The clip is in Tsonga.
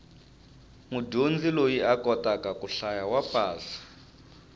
mudyondzi loyi a kotaka ku hlaya wa pasa